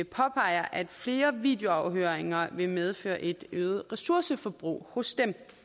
påpeger at flere videoafhøringer vil medføre et øget ressourceforbrug hos